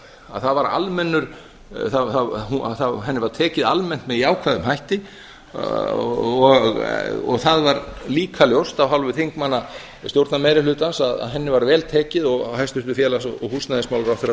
að það var almennur henni var tekið almennt með jákvæðum hætti og það var líka ljóst af hálfu þingmanna stjórnarmeirihlutans að henni var vel tekið og hæstvirtur félags og húsnæðismálaráðherra